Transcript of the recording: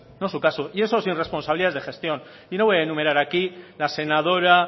no es su caso y eso sin responsabilidades de gestión no voy a enumerar aquí la senadora